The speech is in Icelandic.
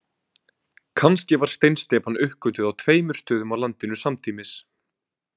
Kannski var steinsteypan uppgötvuð á tveimur stöðum á landinu samtímis.